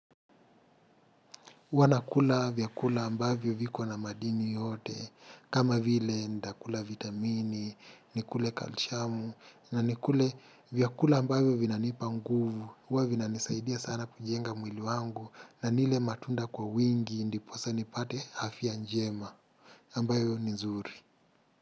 Huwa nakula vyakula ambavyo vikona madini yote kama vile nitakula vitamini, nikule kalsiamu na nikule vyakula ambavyo vinanipa nguvu, huwa vinanisaidia sana kujenga mwili wangu na nile matunda kwa wingi ndiposa nipate afya njema ambayo ni nzuri.